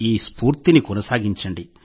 ఈ ఊపును కొనసాగించండి